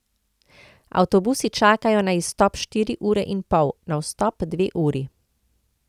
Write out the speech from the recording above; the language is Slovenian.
Avtobusi čakajo na izstop štiri ure in pol, na vstop dve uri.